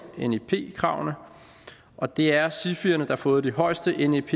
nep kravene og det er sifierne der har fået de højeste nep